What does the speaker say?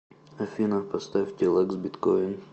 афина поставь тилэкс биткоин